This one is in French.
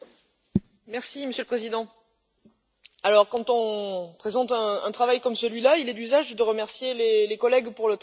Monsieur le Président, quand on présente un travail comme celui là, il est d'usage de remercier les collègues pour le travail accompli.